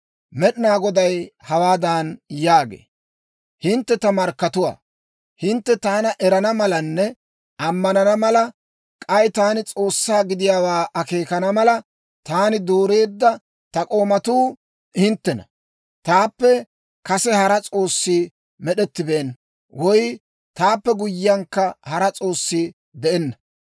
Med'inaa Goday hawaadan yaagee; «Hintte ta markkatuwaa; hintte taana erana malanne ammanana mala, k'ay taani S'oossaa gidiyaawaa akeekana mala, taani dooreedda ta k'oomatuu hinttena. Taappe kase hara s'oossi med'ettibeenna; woy taappe guyyiyankka hara s'oossi de'enna.